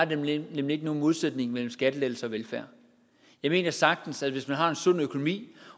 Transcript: der nemlig ikke nogen modsætning mellem skattelettelser og velfærd jeg mener sagtens at man hvis man har en sund økonomi